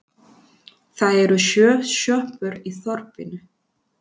Það eru sjö sjoppur í þorpinu!